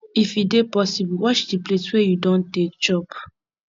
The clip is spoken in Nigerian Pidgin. if e dey possible wash di plates wey you don take chop